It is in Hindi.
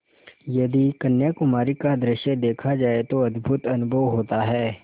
यदि कन्याकुमारी का दृश्य देखा जाए तो अद्भुत अनुभव होता है